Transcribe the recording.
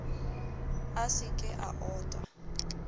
a se ke a ota